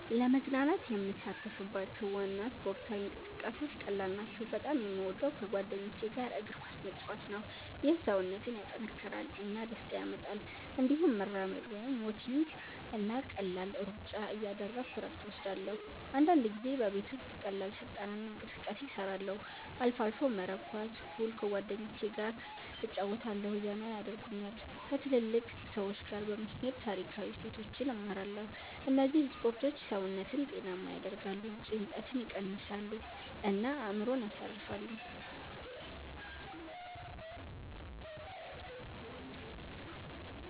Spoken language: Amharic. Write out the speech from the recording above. ለመዝናናት የምሳተፍባቸው ዋና ስፖርታዊ እንቅስቃሴዎች ቀላል ናቸው። በጣም የምወደው ከጓደኞች ጋር እግር ኳስ መጫወት ነው። ይህ ሰውነትን ያጠናክራል እና ደስታ ያመጣል። እንዲሁም መራመድ (walking) እና ቀላል ሩጫ እያደረግሁ እረፍት እወስዳለሁ። አንዳንድ ጊዜ ቤት ውስጥ ቀላል ስልጠና እና እንቅስቃሴ እሰራለሁ። አልፎ አልፎ መረብ ኳስ፣ ፑል ከጓደኞቸ ገ እጨረወታለሁ ዘና የደርጉኛል። ከትልልቅ ሰዎች ጋ በመሄድ ታሪካዊ እሴቶችን እማራለሁ እነዚህ ስፖርቶች ሰውነትን ጤናማ ያደርጋሉ፣ ጭንቀትን ይቀንሳሉ እና አእምሮን ያሳርፋሉ።